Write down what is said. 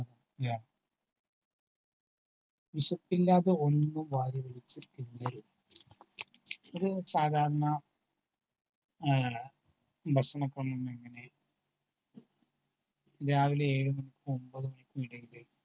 വിശപ്പില്ലാതെ ഒന്നും വാരി വലിച്ചു തിന്നരുതു. ഒരു സാധാരണ ഭക്ഷണ ക്രമം എങ്ങനെ രാവിലെ ഏഴു മണി മുതൽ ഒമ്പതു മണിക്കുമിടയിലെ